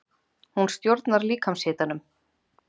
Hún stjórnar líkamshitanum.